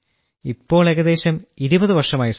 ഇപ്പോൾ ഏകദേശം 20 വർഷമായി സർ